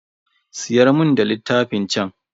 Siyar mun da littafan chan.